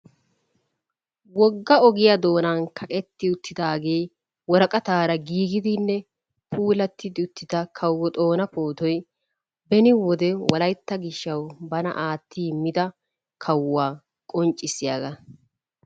Wogga ogiyaa doonan kaqqetti uttidaagee woraqqataara giggidinne puulati uttida Kawo Xoona pootoy beni wolaytta gishshawu bana aatti immida kawuwaa qonccissiyagaa.